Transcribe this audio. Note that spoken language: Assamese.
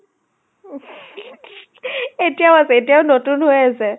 এতিয়াও আছে, এতিয়াও নতুন হৈ আছে।